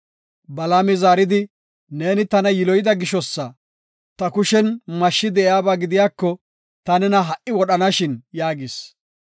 Balaami zaaridi, “Neeni tana yiloyida gishosa; ta kushen mashshi de7iyaba gidiyako ta nena ha77i wodhanashin” yaagis.